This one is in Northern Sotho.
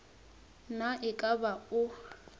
na e ka ba o